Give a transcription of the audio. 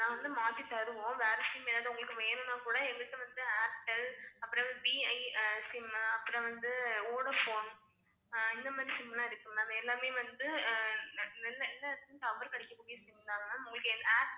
நாங்க வந்து மாத்தி தருவோம் வேற SIM எதாவது உங்களுக்கு வேணும்னா கூட, எங்கள்ட்ட வந்து Airtel அப்புறம் V I SIM அப்புறம் வந்து Vodafone ஆஹ் இந்த மாதிரி SIM லா இருக்கு ma'am எல்லாமே வந்து ஹம் நல்~ நல்லா எல்லா எடத்தலையும் tower கிடைக்கக்கூடிய SIM தான் ma'am உங்களுக்கு